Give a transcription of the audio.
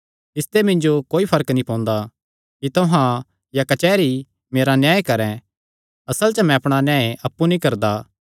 इसते मिन्जो कोई फर्क नीं पोंदा कि तुहां या कचेहरी मेरा न्याय करैं असल च मैं अपणा न्याय अप्पु नीं करदा